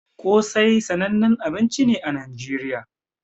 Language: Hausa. Kosai sananne abinci ne a nigeriya